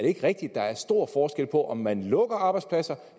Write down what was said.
ikke rigtigt at der er stor forskel på om man lukker arbejdspladser